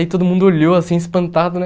Aí todo mundo olhou assim, espantado, né?